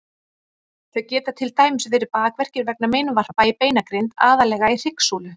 Þau geta til dæmis verið bakverkir vegna meinvarpa í beinagrind, aðallega í hryggsúlu.